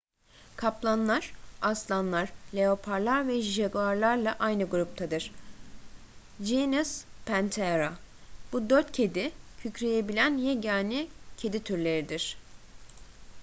kaplanlar; aslanlar leoparlar ve jaguarlarla aynı gruptadır genus panthera. bu dört kedi kükreyebilen yegane kedi türleridir